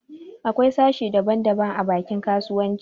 Akwai sashen daba daba a bankin kasuwanci